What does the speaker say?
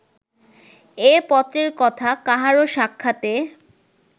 এ পত্রের কথা কাহারও সাক্ষাতে